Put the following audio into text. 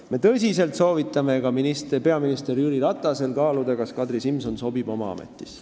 Me tõsiselt soovitame ka peaminister Jüri Ratasel kaaluda, kas Kadri Simson sobib oma ametisse.